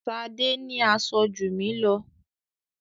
Ṣadé ní aṣọ jù mí lọ.